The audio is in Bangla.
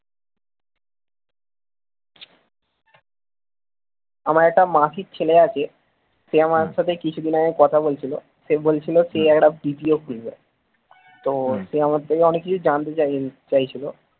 আমার একটা মাসির ছেলে আছে সে আমার সাথে কিছুদিন আগে কথা বলছিল সে বলছিল সে একটা BPO তো সে আমার থেকে অনেক কিছু জানতে চাইছিল